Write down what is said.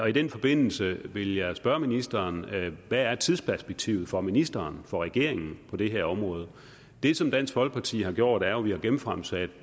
i den forbindelse vil jeg spørge ministeren hvad er tidsperspektivet for ministeren og for regeringen på det her område det som dansk folkeparti har gjort er jo at vi har genfremsat